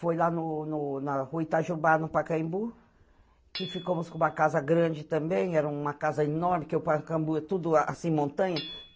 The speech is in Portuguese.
Foi lá no no na rua Itajubá, no Pacaembu, que ficamos com uma casa grande também, era uma casa enorme, que o Pacaembu é tudo assim, montanha.